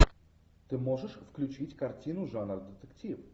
ты можешь включить картину жанр детектив